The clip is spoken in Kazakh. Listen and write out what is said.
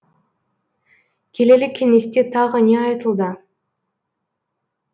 келелі кеңесте тағы не айтылды